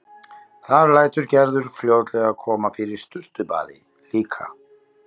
Þar lætur Gerður fljótlega koma fyrir sturtubaði líka.